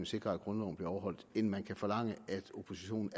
sikrer at grundloven bliver overholdt end det man kan forlange af oppositionen